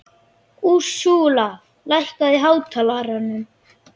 Úrsúla, lækkaðu í hátalaranum.